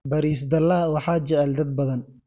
baris dalac waxaa jecel dad badan.